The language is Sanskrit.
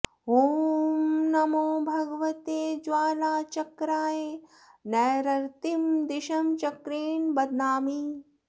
ॐ नमो भगवते ज्वालाचक्राय नैरृतीं दिशं चक्रेण बध्नामि